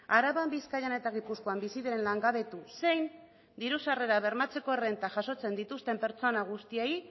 araban bizkaian eta gipuzkoan bizi diren langabetu zein diru sarrerak bermatzeko errenta jasotzen dituzten pertsona guztiei